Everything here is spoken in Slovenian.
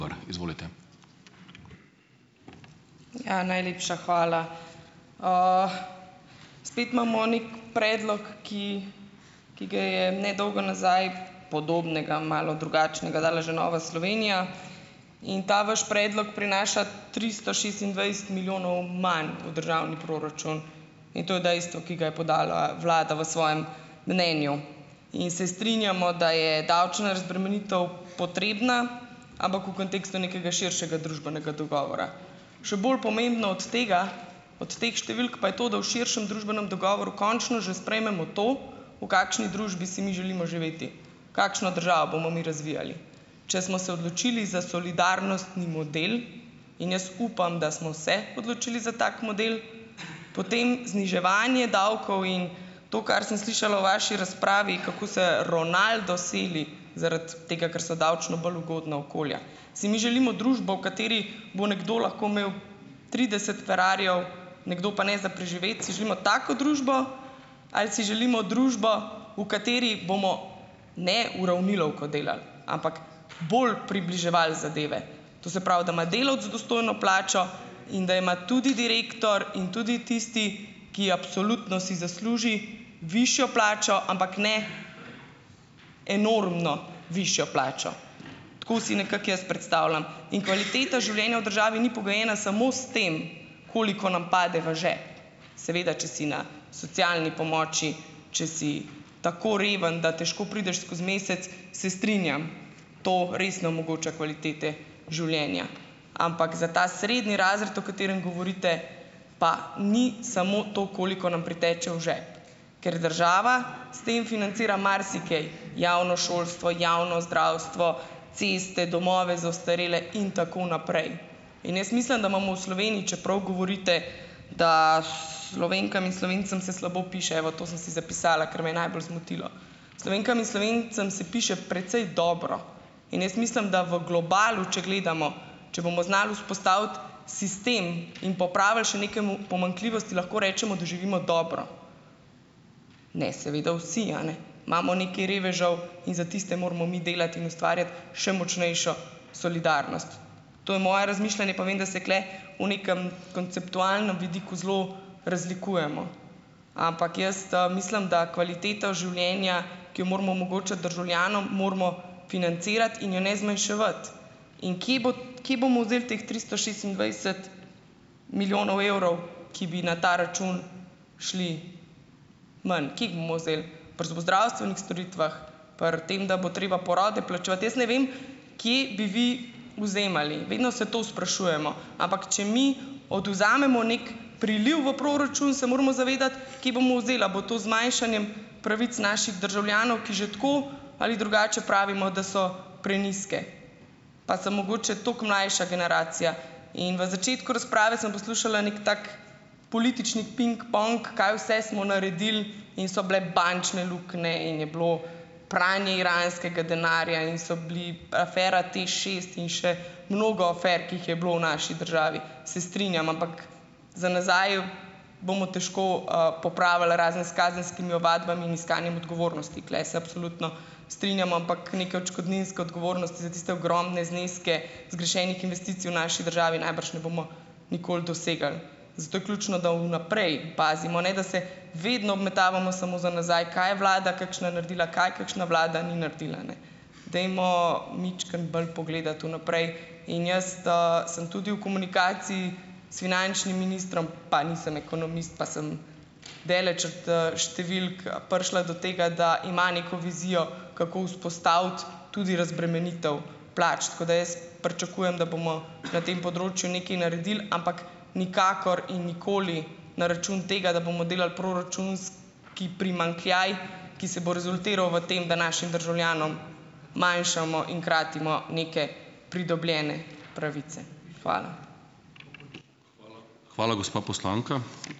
Najlepša hvala. Spet imamo neki predlog, ki ki ga je nedolgo nazaj podobnega, malo drugačnega dala že Nova Slovenija, in ta vaš predlog prinaša tristo šestindvajset milijonov manj v državni proračun in to je dejstvo, ki ga je podala vlada v svojem mnenju. In se strinjamo, da je davčna razbremenitev potrebna, ampak v kontekstu nekega širšega družbenega dogovora. Še bolj pomembno od tega, od teh številk pa je to, da v širšem družbenem dogovoru končno že sprejmemo to, da kakšni družbi si mi želimo živeti, kakšno državo bomo mi razvijali. Če smo se odločili za solidarnostni model, in jaz upam, da smo se odločili za tak model, potem zniževanje davkov in to, kar sem slišala v vaši razpravi, kako se Ronaldo seli zaradi tega, ker so davčno bolj ugodna okolja, si mi želimo družbo, v kateri bo nekdo lahko imel trideset ferrarijev, nekdo pa ne za preživeti, si želimo tako družbo ali si želimo družbo, v kateri bomo ne uravnilovko delali, ampak bolj približevali zadeve. To se pravi, da ima delavec dostojno plačo, in da ima tudi direktor in tudi tisti, ki absolutno si zasluži višjo plačo, ampak ne enormno višjo plačo. Tako si nekako jaz predstavljam. In kvaliteta življenja v državi ni pogojena samo s tem, koliko nam pade v žep, seveda če si na socialni pomoči, če si tako reven, da težko prideš skozi mesec, se strinjam, to res ne omogoča kvalitete življenja, ampak za ta srednji razred, o katerem govorite, pa ni samo to, koliko nam priteče v žep, ker država s tem financira marsikaj, javno šolstvo, javno zdravstvo, ceste, domove za ostarele in tako naprej. In jaz mislim, da imamo v Sloveniji, čeprav govorite, da, Slovenkam in Slovencem se slabo piše, evo, to sem si zapisala, ker me je najbolj zmotilo, Slovenkam in Slovencem se piše precej dobro in jaz mislim, da v globalu, če gledamo, če bomo znali vzpostaviti sistem in popravili še neke pomanjkljivosti, lahko rečemo, da živimo dobro. Ne seveda vsi, a ne, imamo nekaj revežev in za tiste moramo mi delati in ustvarjati še močnejšo solidarnost. To je moje razmišljanje, pa vem, da se tule v nekem konceptualnem vidiku zelo razlikujemo, ampak jaz, mislim, da kvaliteta življenja, ki jo moramo omogočiti državljanom, moramo financirati in je ne zmanjševati. In kje kje bomo vzeli teh tristo petindvajset milijonov evrov, ki bi na ta račun šli ven. Kje bomo vzeli? Pri zobozdravstvenih storitvah? Pri tem, da bo treba porode plačevati? Jaz ne vem, kje bi vi vzemali? Vedno se to sprašujemo. Ampak če mi odvzamemo neki priliv v proračun, se moramo zavedati, kje bomo vzeli, a bo to z zmanjšanjem pravic naših državljanov, ki že tako ali drugače pravimo, da so prenizke. Pa sem mogoče toliko mlajša generacija. In v začetku razprave sem poslušala neki tak politični pingpong, kaj vse smo naredili in so bile bančne luknje, in je bilo pranje iranskega denarja in so bili afera TEŠšest in še mnogo afer, ki jih je bilo v naši državi. Se strinjam, ampak za nazaj bomo težko, popravili, razen s kazenskimi ovadbami in iskanjem odgovornosti. Tule se absolutno strinjam, ampak neke odškodninske odgovornosti za tiste ogromne zneske zgrešenih investicij v naši državi najbrž ne bomo nikoli dosegli. Zato je ključno, da v naprej pazimo, ne da se vedno obmetavamo samo za nazaj, kaj je vlada kakšna naredila, kaj kakšna vlada ni naredila, ne. Dajmo majčkeno bolj pogledati vnaprej. In jaz, sem tudi v komunikaciji s finančnim ministrom, pa nisem ekonomist, pa sem daleč od, številk, prišla do tega, da ima neko vizijo, kako vzpostaviti tudi razbremenitev plač. Tako da jaz pričakujem, da bomo na tem področju nekaj naredili, ampak nikakor in nikoli na račun tega, da bomo delali sski primanjkljaj, ki se bo rezultiral v tem, da našim državljanom manjšamo in kratimo neke pridobljene pravice. Hvala.